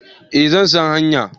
Eh zan san hanya